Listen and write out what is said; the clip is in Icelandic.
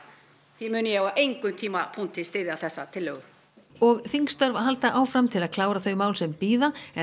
því mun ég á engum tímapunkti styðja þessa tillögu og þingstörf halda áfram til að klára þau mál sem bíða en